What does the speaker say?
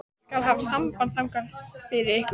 Ég skal hafa samband þangað fyrir ykkur.